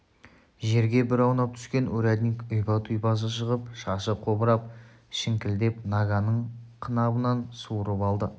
жерге бір аунап түскен урядник ұйпа-тұйпасы шығып шашы қобырап шіңкілдеп наганын қынабынан суырып алды